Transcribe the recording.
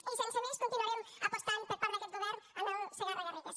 i sense més continuarem apostant per part d’aquest govern en el segarra garrigues